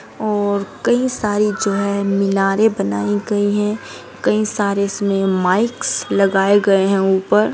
और कई सारे जो हैं मीनारें बनाई गई हैं कई सारे उसमे माइकस लगाए गए हैं ऊपर |